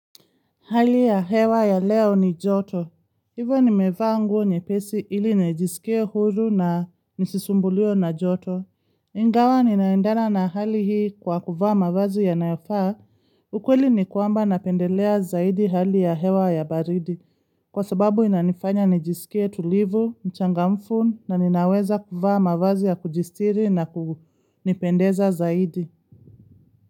Hali ya hewa ya leo ni joto. Hivyo nimevaa nguo nyepesi ili nejisikie huru na nisisumbuliwe na joto. Ingawa ninaendana na hali hii kwa kuvaa mavazi ya nayofaa. Ukweli ni kuamba napendelea zaidi hali ya hewa ya baridi. Kwa sababu inanifanya nijisikie tulivu, nchangamfu na ninaweza kuvaa mavazi ya kujisitiri na kunipendeza zaidi.